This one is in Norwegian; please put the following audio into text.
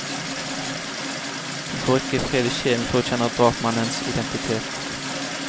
Hun får ikke fred i sjelen før hun kjenner drapsmannens identitet.